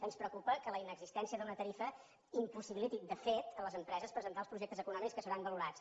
ens preocupa que la inexistència d’una tarifa impossibiliti de fet a les empreses presentar els projectes econòmics que seran valorats